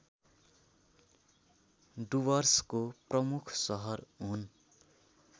डुवर्सको प्रमुख सहर हुन्